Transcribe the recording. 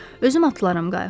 Özüm atılaram qayıqdan.